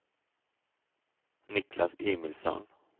Niklas Emilsson